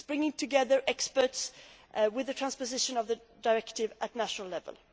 It brings together experts on the transposition of the Directive at national level.